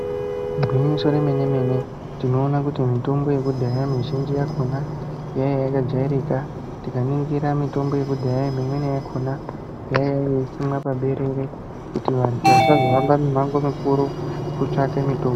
Igwinyiso remene mene tinoona kuti mutombo yekudhaya muzhinji yakhona yaiya yakajairika tikaningira mutombo yekudhaya mimweni yakhona yaiya yeisimwa paberere kuti vantu vasazo hambe mimango mikuru kutsvake mitombo.